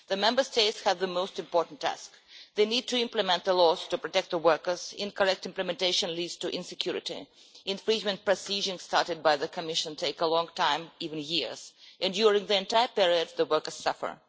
The Member States have the most important task they need to implement the laws to protect the workers. Incorrect implementation leads to insecurity. Infringement proceedings started by the Commission take a long time, even years, and during that entire period the workers suffer.